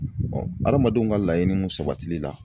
hadamadenw ka laɲiniw sabatili la